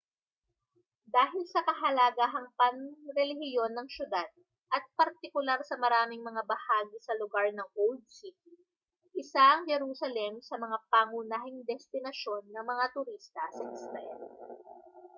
dahil sa kahalagahang panrelihiyon ng syudad at partikular sa maraming mga bahagi sa lugar ng old city isa ang jerusalem sa mga pangunahing destinasyon ng mga turista sa israel